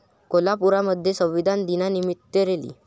कोल्हापूरमध्ये संविधान दिनानिमित्त रॅली